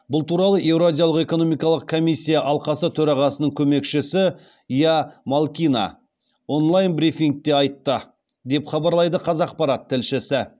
бұл туралы еуразиялық экономикалық комиссия алқасы төрағасының көмекшісі ия малкина онлайн брифингте айтты деп хабарлайды қазақпарат тілшісі